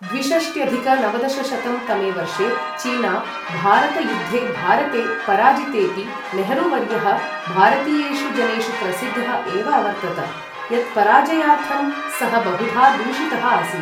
द्विषष्ट्यधिक नवदशशतं तमे वर्षे चीना भारत युद्धे भारते पराजितेपि नेहरू वर्यः भारतीयेषु जनेषु प्रसिद्धः एव अवर्तत, यत्पराजयार्थं सः बहुधा दूषितः आसीत्।